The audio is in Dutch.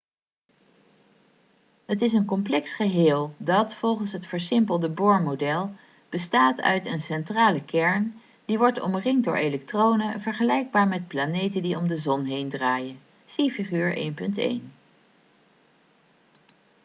het is een complex geheel dat volgens het versimpelde bohr-model bestaat uit een centrale kern die wordt omringt door elektronen vergelijkbaar met planeten die om de zon heen draaien zie figuur 1.1